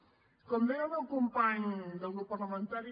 com deia el meu company de grup parlamentari